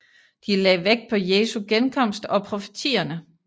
De lagde vægt på Jesu genkomst og profetierne